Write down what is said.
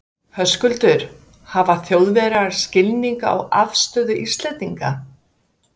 Höskuldur: Hafa Þjóðverjar skilning á afstöðu Íslendinga?